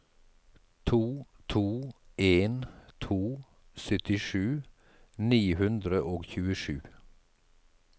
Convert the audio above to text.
to to en to syttisju ni hundre og tjuesju